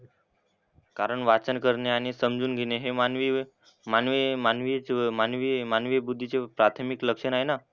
कारण वाचन करणे आणि समजून घेणे हे मानवी मानवी मानवी मानवी मानवी बुद्धीचे प्राथमिक लक्षण आहे ना.